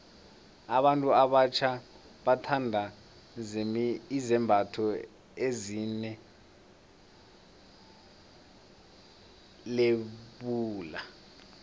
abantu abatjha bathanda izembatho ezine lebula